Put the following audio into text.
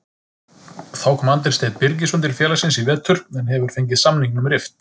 Þá kom Andri Steinn Birgisson til félagsins í vetur en hefur fengið samningnum rift.